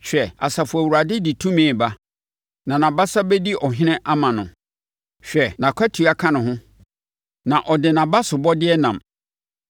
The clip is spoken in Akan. Hwɛ, Asafo Awurade de tumi reba, na nʼabasa bɛdi ɔhene ama no. Hwɛ, nʼakatua ka ne ho, na ɔde nʼabasobɔdeɛ nam.